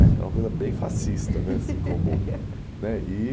né era uma coisa bem fascista né assim como. né... E